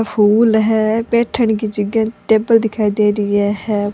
फूल है बैठेंन की जगह टेबल दिखाई दे रही है है।